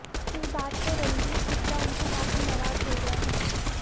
इस बात से रणदीप हुडा उनसे काफी नाराज हो गए है